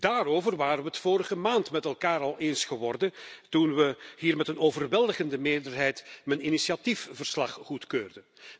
Daarover waren we het vorige maand met elkaar al eens geworden, toen we hier met een overweldigende meerderheid mijn initiatiefverslag goedkeurden.